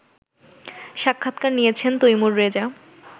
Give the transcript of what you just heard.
সাক্ষাৎকার নিয়েছেন তৈমুর রেজা